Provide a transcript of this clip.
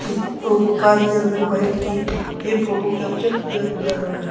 और कार के अंदर बैठ के ये फोटो कैप्चर किया जा रहा है।